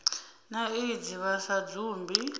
na aids vha sa dzumbi